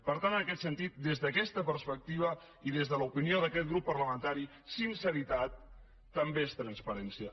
per tant en aquest sentit des d’aquesta perspectiva i des de l’opinió d’aquest grup parlamentari sinceritat també és transparència